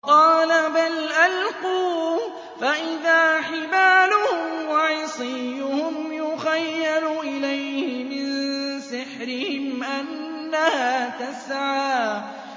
قَالَ بَلْ أَلْقُوا ۖ فَإِذَا حِبَالُهُمْ وَعِصِيُّهُمْ يُخَيَّلُ إِلَيْهِ مِن سِحْرِهِمْ أَنَّهَا تَسْعَىٰ